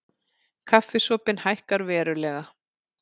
Kaffisopinn hækkar verulega